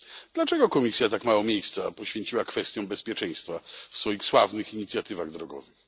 Dlaczego Komisja tak mało miejsca poświęciła kwestiom bezpieczeństwa w swoich sławnych inicjatywach drogowych?